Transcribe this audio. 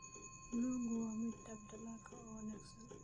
Buluugu waa midab dalagga oo wanaagsan.